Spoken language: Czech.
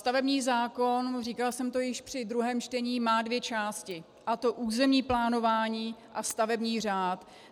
Stavební zákon, říkala jsem to již při druhém čtení, má dvě části, a to územní plánování a stavební řád.